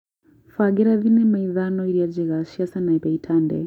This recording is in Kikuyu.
mbangĩra thĩnema ĩthano ĩrĩa njega cĩa Sanapei Tande